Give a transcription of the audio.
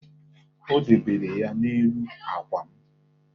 O debere ya n'elu àkwà m.